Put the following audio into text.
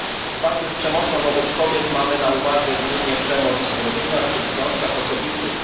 W walce z przemocą wobec kobiet mamy na uwadze głównie przemoc w rodzinach czy w związkach osobistych.